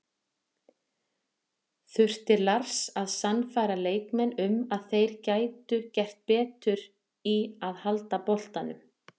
Þurfti Lars að sannfæra leikmenn um að þeir gætu gert betur í að halda boltanum?